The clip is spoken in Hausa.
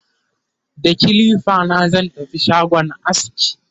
da kilifa na zan tafi shagon aski